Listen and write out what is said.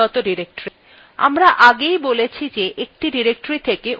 আমরা আগেই বলেছি যে আমরা একটি directory থেকে অন্যত়ে যেতে পারি